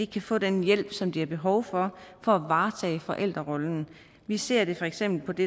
kan få den hjælp som de har behov for for at varetage forældrerollen vi ser for eksempel på det